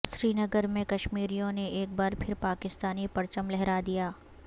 سری نگر میں کشمیریوں نے ایک بار پھر پاکستانی پرچم لہرا دیا